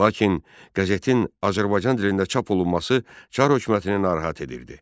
Lakin qəzetin Azərbaycan dilində çap olunması Çar hökumətini narahat edirdi.